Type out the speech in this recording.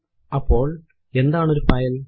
അപ്പോൾ എന്താണ് ഒരു ഫയൽ160